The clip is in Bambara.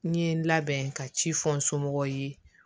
N ye n labɛn ka ci fɔ n somɔgɔw ye